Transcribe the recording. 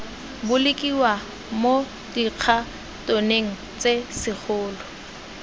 bolokiwa mo dikhatoneng tse segolo